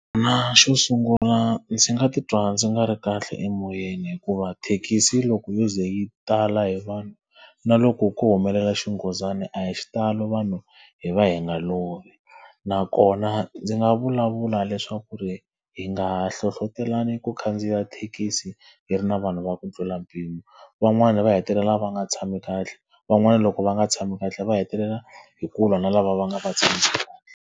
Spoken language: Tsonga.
xo sungula ndzi nga titwa ndzi nga ri kahle emoyeni hikuva thekisi loko yo ze yi tala hi vanhu, na loko ko humelela xinghozana a hi xitalo vanhu hi va hi nga lovi. Nakona ndzi nga vulavula leswaku ku ri hi nga hlohletelani ku khandziya thekisi yi ri na vanhu va ku tlula mpimo. Van'wani va hetelela va nga tshami kahle, van'wana loko va nga tshami kahle va hetelela hi ku lwa na lava va nga va .